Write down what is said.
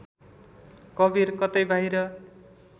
कवीर कतै बाहिर